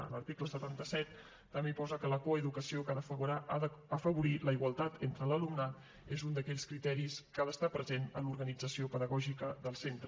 a l’article setanta set també hi posa que la coeducació que ha d’afavorir la igualtat entre l’alumnat és un d’aquells criteris que ha d’estar present en l’organització pedagògica del centre